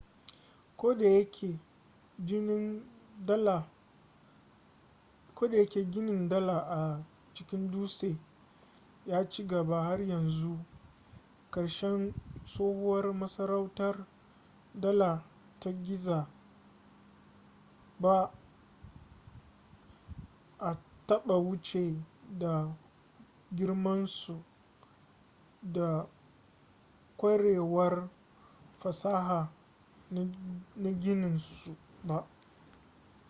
ko da yake ginin dala a cikin dutse ya ci gaba har zuwa ƙarshen tsohuwar masarautar dala ta giza ba a taɓa wuce ta da girmansu da ƙwarewar fasaha na ginin su ba